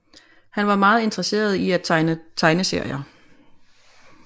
Han var meget interesseret i at tegne tegneserier